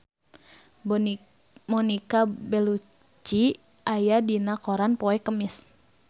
Monica Belluci aya dina koran poe Kemis